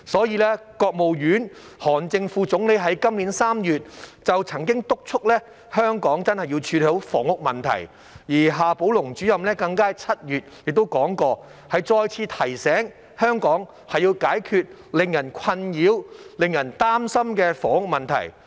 因此，國務院韓正副總理於今年3月曾敦促香港真的要處理房屋問題，而夏寶龍主任更於7月再次提醒，香港要解決令人困擾和擔心的房屋問題。